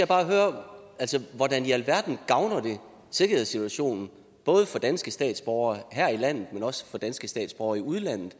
bare høre hvordan i alverden gavner vi sikkerhedssituationen både for danske statsborgere her i landet men også for danske statsborgere i udlandet